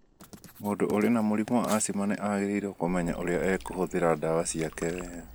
Mũndũ ũrĩ na mũrimũ wa asthma nĩ agĩrĩirũo kũmenya ũrĩa egũhũthĩra ndawa ciake wega.